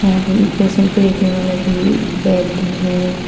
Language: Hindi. यहां पर पेशेंट को लेटने वाला भी बेड है।